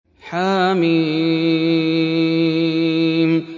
حم